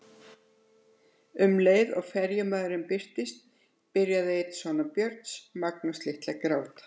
Um leið og ferjumaðurinn birtist byrjaði einn sona Björns, Magnús litli, að gráta.